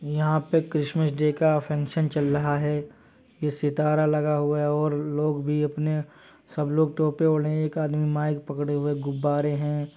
यहाँ पे Christmas day का फंक्शन चल रहा है। ये सितारा लगा हुआ है और लोग भी अपने सब लोग टोपी ओढ़े हैं। एक आदमी माइक पकड़े हुए है गुब्बारे हैं।